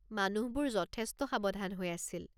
মানুহবোৰ যথেষ্ট সাৱধান হৈ আছিল।